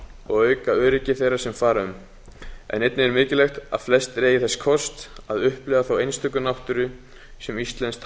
og auka öryggi þeirra sem fara um einnig er mikilvægt að flestir eigi þess kost að upplifa þá einstöku náttúru sem íslenskt